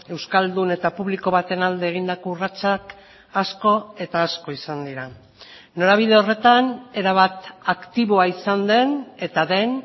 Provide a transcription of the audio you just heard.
euskaldun eta publiko baten alde egindako urratsak asko eta asko izan dira norabide horretan erabat aktiboa izan den eta den